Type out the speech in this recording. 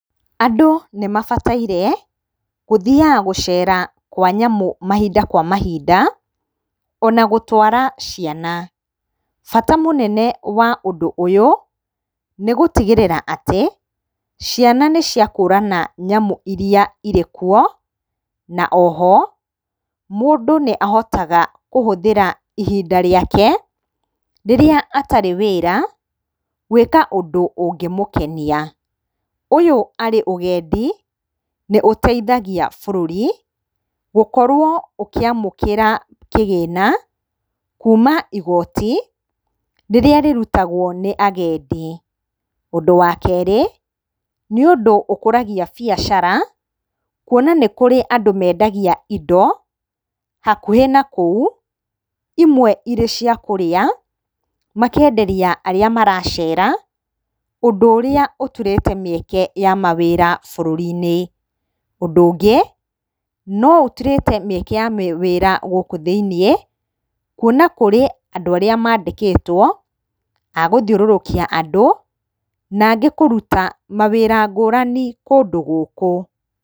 Andũ nĩmabataire gũthiyaga gũcera kwa nyamũ mahinda kwa mahinda ona gũtwara ciana. Bata mũnene wa ũndũ ũyũ nĩgũtigĩrĩra atĩ ciana nĩciakũrana nyamũ iria irĩkuo, na oho mũndũ nĩahotaga kũhũthĩra ihinda rĩake rĩrĩa atarĩ wĩra gwĩka ũndũ ũngĩmũkenia. Ũyũ arĩ ũgendi nĩũteithagia bũrũri gũkorwo ũkĩamũkĩra kĩgĩna kuma igoti rĩrĩa rĩrutagwo nĩ agendi. Ũndũ wa kerĩ nĩ ũndũ ũkũragia biacara kuona nĩ kũrĩ andũ mendagia indo hakuhĩ na kũu imwe ĩrĩ cia kũrĩa makenderia arĩa maracera ũndũ ũrĩa ũturĩte mĩeke ya mawĩra bũrũri-inĩ. Ũndũ ũngĩ no ũturĩte mĩeke ya mawĩra gũkũ thĩinĩ kuona kũrĩ andũ arĩa mandĩkĩtwo agũthiũrũrũkia andũ na angĩ kũruta mawĩra ngũrani kũndũ gũkũ.